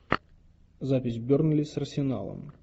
запись бернли с арсеналом